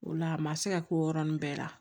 O la a ma se ka k'o yɔrɔnin bɛɛ la